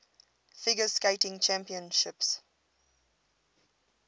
figure skating championships